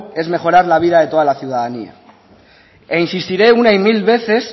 es mejorar la vida de toda la ciudadanía e insistiré una y mil veces